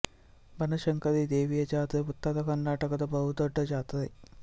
ಬನಶಂಕರಿ ದೇವಿಯ ಜಾತ್ರೆ ಉತ್ತರ ಕರ್ನಾಟಕದ ಬಹು ದೊಡ್ಡ ಜಾತ್ರೆ